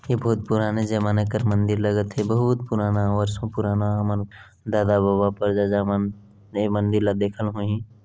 ए बहुत पुराना जमाना कर मंदिर लगत हे बहुत पुराना बरसो पुराना हमर दादा बाबा पर दादा मन ए मंदिर ला देखन होही--